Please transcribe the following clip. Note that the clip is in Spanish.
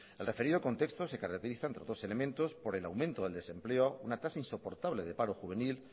el referido contexto se caracteriza entre otros elementos por el aumento del desempleo una tasa insoportable de paro juvenil